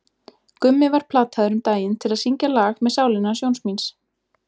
Gummi var plataður um daginn til að syngja lag með Sálinni hans Jóns míns.